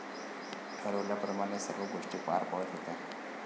ठरल्याप्रमाणे सर्व गोष्टी पार पडत होत्या.